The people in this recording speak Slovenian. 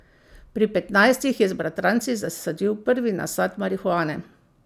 Pri petnajstih je z bratranci zasadil prvi nasad marihuane.